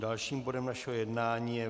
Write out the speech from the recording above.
Dalším bodem našeho jednání je